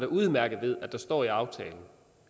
udmærket at der står i aftalen